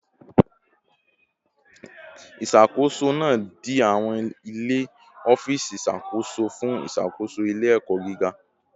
Isakoso naa di awọn ile ọfiisi iṣakoso fun iṣakoso ile-ẹkọ giga